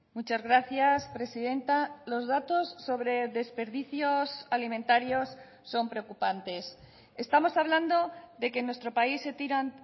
muchas gracias presidenta los datos sobre desperdicios alimentarios son preocupantes estamos hablando de que en nuestro país se tiran